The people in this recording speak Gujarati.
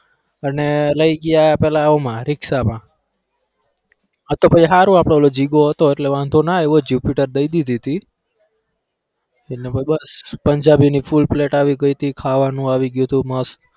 અને લઇ ગયા પેલા આમાં રિક્ષામાં આ તો પછી ભાઈ હારું આપડો પેલો જીગો હતો એટલે વાંધો ના આયવો jupiter દઈ દીધી હતી એટલે પછી બસ પંજાબીની full plate આવી ગઈ હતી ખાવાનું આવી ગયું હતું મસ્ત.